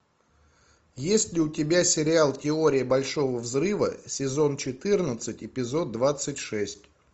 есть ли у тебя сериал теория большого взрыва сезон четырнадцать эпизод двадцать шесть